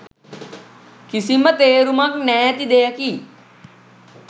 කිසිම තේරුමක් නෑති දෙයකි